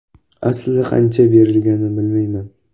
Aslida qancha berilganini bilmayman.